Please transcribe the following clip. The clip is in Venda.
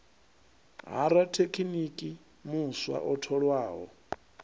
ha rathekiniki muswa o tholwaho